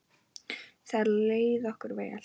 Þar leið okkur vel.